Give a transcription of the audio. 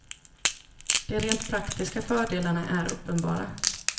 De rent praktiska fördelarna är uppenbara.